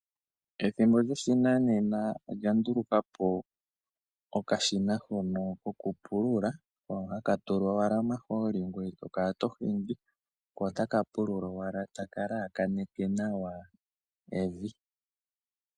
Ethimbo lyoshinanena olya ndulukapo okashina hono kokupulula hono haka tulwa owala omahooli ngoye tokala tohingi ko otaka pulula owala taka lakaneke nawa evi.